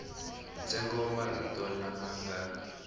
ntsengo wa marito lama nga